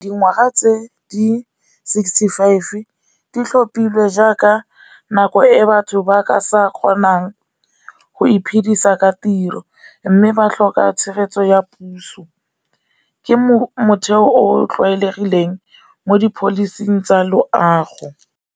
Dingwaga tse di sixty five di tlhopile jaaka nako e batho ba ka sa kgonang go iphidisa ka tiro, mme ba tlhoka tshegetso ya puso. Ke motheo o o tlwaelegileng mo di pholising tsa loago.